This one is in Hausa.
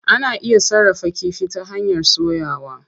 Ana iya sarrafa kifi ta hanyar soyawa.